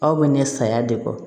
Aw bɛ ɲɛ sayaya de kɔ